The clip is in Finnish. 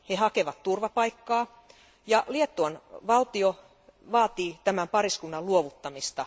He hakevat turvapaikkaa ja Liettuan valtio vaatii tämän pariskunnan luovuttamista.